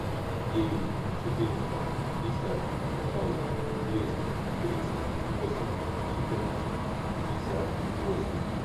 девять четыреста пятьдесят ноль двести тридцать восемь четырнадцать пятьдесят восемь